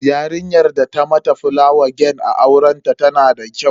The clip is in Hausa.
Yarinyar da ta mata fulawa gel a aurenta tana da kyau.